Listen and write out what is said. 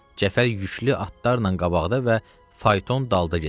Cəfər yüklü atlarla qabaqda və fayton dalda gedirdi.